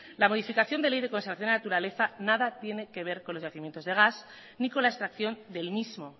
la modificación de la ley de conservación de la naturaleza nada tiene que ver con los yacimientos de gas ni con la extracción del mismo